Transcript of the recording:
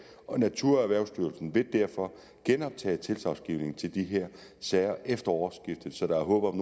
naturerhvervsstyrelsen vil derfor genoptage tilsagnsgivningen til de her sager efter årsskiftet så der er håb om